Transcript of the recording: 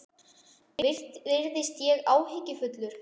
Virðist ég áhyggjufullur?